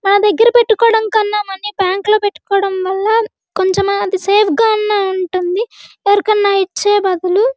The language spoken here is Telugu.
మన దగ్గర పెట్టుకోవడం కంటే మనీ బ్యాంకు లో పెట్టుకోవడం వల్ల కొంచెం అయిన సేఫ్ గ అయిన ఉంటుంది ఎవరికైనా ఇచ్చే బదులుఅది.